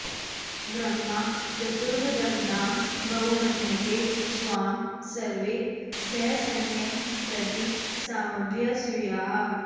ब्रह्मा चतुर्वदनतां बहुमन्यते स्वां सर्वे सहस्रनयनं प्रति साभ्यसूयाः